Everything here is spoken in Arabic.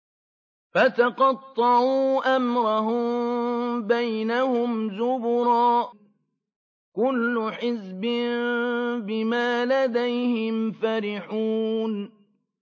فَتَقَطَّعُوا أَمْرَهُم بَيْنَهُمْ زُبُرًا ۖ كُلُّ حِزْبٍ بِمَا لَدَيْهِمْ فَرِحُونَ